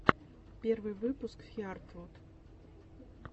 первый выпуск хиартвуд